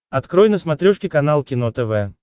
открой на смотрешке канал кино тв